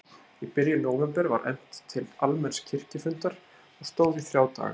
Í byrjun nóvember var efnt til almenns kirkjufundar og stóð í þrjá daga.